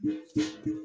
Nse